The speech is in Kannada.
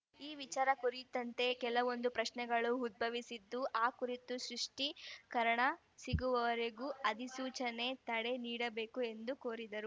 ಈ ವಿಚಾರ ಕುರಿತಂತೆ ಕೆಲವೊಂದು ಪ್ರಶ್ನೆಗಳು ಉದ್ಭವಿಸಿದ್ದು ಆ ಕುರಿತು ಸ್ರಿಷ್ಟೀಕರಣ ಸಿಗುವರೆಗೂ ಅಧಿಸೂಚನೆಗೆ ತಡೆ ನೀಡಬೇಕು ಎಂದು ಕೋರಿದರು